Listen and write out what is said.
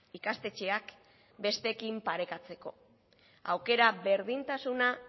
ikastetxeak besteekin parekatzeko aukera berdintasuna